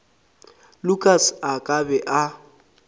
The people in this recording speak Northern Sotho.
lukas a ka be a